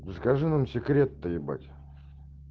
расскажи нам секрет то ебать